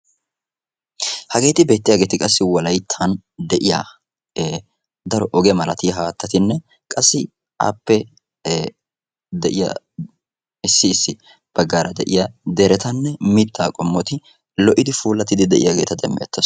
Wolayttan de'iya ogee malattiya haatattinne dumma dumma mittati puulatiddi de'iyagetta demeetees.